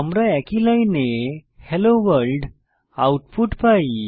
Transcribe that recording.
আমরা কিন্তু একই লাইনে হেলো ভোর্ল্ড আউটপুট পাই